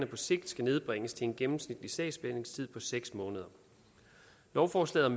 på sigt nedbringes til en gennemsnitlig sagsbehandlingstid på seks måneder lovforslaget